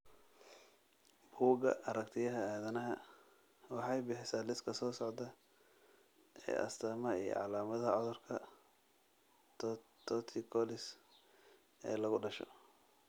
Bugga Aragtiyaha Aadanaha waxay bixisaa liiska soo socda ee astaamaha iyo calaamadaha cudurka torticollis ee lagu dhasho.